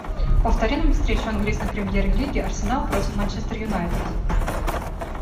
повтори нам встречу английской премьер лиги арсенал против манчестер юнайтед